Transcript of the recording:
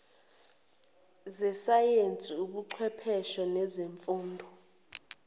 zesayensi ubuchwepheshe nezifundo